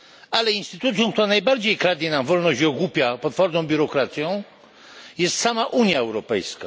A instytucją, która najbardziej kradnie nam wolność i ogłupia potworną biurokracją jest sama Unia Europejska.